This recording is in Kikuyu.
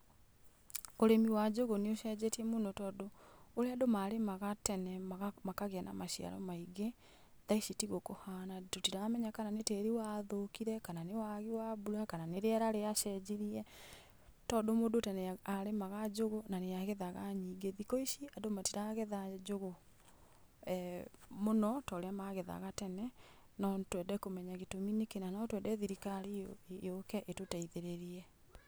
Ũrĩmi wa njũgũ nĩũcenjetie mũno, tondũ ũrĩa andũ marĩmaga tene maga makagĩa na maciaro maingĩ thaa ici tiguo kũhana. Tũtiramenya kana nĩ tĩĩri wathũkire, kana nĩ wagi wa mbura, kana nĩ rĩera rĩacenjirie, tondũ mũndũ tene a arĩmaga njũgũ na nĩagethaga nyingĩ. Thikũ ici andũ matiragetha njũgũ mũno torĩa magethaga tene. No twende kũmenya gĩtũmi nĩkĩĩ na no twende thirikari yũ yũke ĩtũteithĩrĩrie.